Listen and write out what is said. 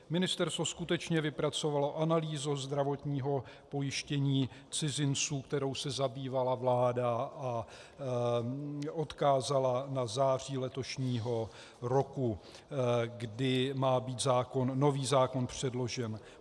Ministerstvo skutečně vypracovalo analýzu zdravotního pojištění cizinců, kterou se zabývala vláda, a odkázala na září letošního roku, kdy má být nový zákon předložen.